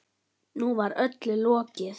Nú var öllu lokið.